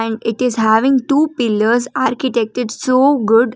And it is having two pillars architected so good.